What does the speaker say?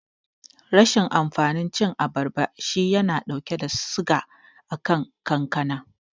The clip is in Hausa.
Rashin amfanin cin abarba shi yana dauke da suga akan kankana.